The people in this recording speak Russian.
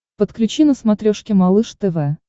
подключи на смотрешке малыш тв